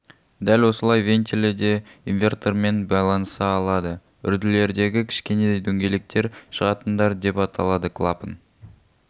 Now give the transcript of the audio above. дәл осылай вентилі де инвертормен байланыса алады үрділердегі кішкене дөңгелектер шығатындар деп аталады клапан